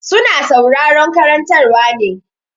Su na sauraron karantarwa ne.